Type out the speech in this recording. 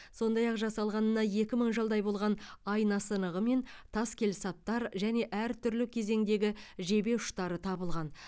сондай ақ жасалғанына екі мың жылдай болған айна сынығы мен тас келсаптар және әртүрлі кезеңдегі жебе ұштары табылған